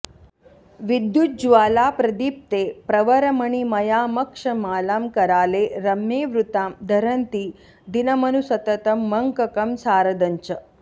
विद्युज्ज्वालाप्रदीप्ते प्रवरमणिमयामक्षमालां कराले रम्ये वृत्तां धरन्ती दिनमनुसततं मङ्ककं सारदं च